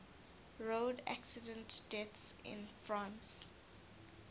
road accident deaths in france